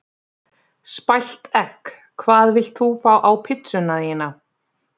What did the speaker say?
Spælt egg Hvað vilt þú fá á pizzuna þína?